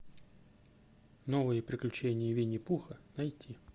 новые приключения винни пуха найти